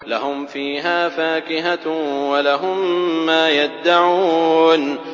لَهُمْ فِيهَا فَاكِهَةٌ وَلَهُم مَّا يَدَّعُونَ